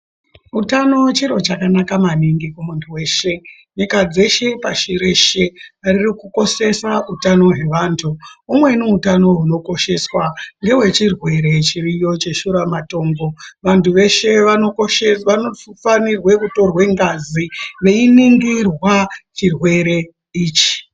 Utano chiro chakanaka maningi kumuntu weshe, nyika dzeshe pashi reshe ririkukoshesa utano hwevantu. Umweni utano hunokosheswa ngewechirwere chiriyo cheshuramatongo, vantu veshe vanofanirwa kutorwa ngazi veiningirwa chirwere ichi.